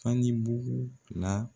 Fani bugu la